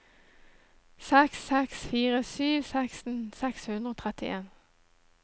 seks seks fire sju seksten seks hundre og trettien